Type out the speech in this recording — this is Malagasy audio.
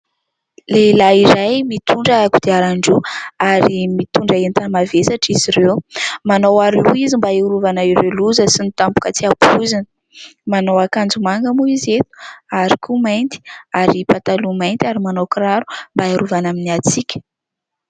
Lehilahy iray mitondra kodiarandroa, ary mitondra entana mavesatra izy ireo. Manao aroloha izy mba iarovana ireo loza sy ny tampoka tsy ampoizina. Manao akanjo manga moa izy eto ary koa mainty, ary pataloha mainty ary manao kiraro mba iarovana amin'ny hatsiaka.